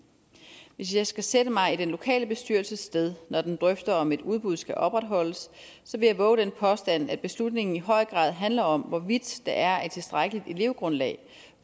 hvis jeg skal sætte mig i den lokale bestyrelses sted når den drøfter om et udbud skal opretholdes vil jeg vove den påstand at beslutningen i høj grad handler om hvorvidt der er et tilstrækkeligt elevgrundlag